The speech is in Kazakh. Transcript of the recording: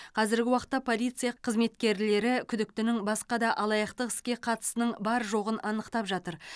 қазіргі уақытта полиция қызметкерлері күдіктінің басқа да алаяқтық іске қатысының бар жоғын анықтап жатыр